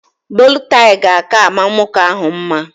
Bolo taị ga aka ama nwoke ahụ mma